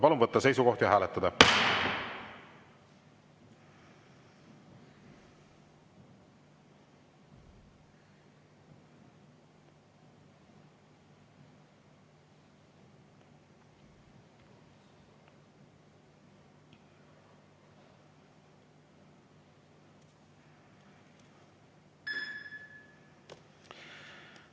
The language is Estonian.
Palun võtta seisukoht ja hääletada!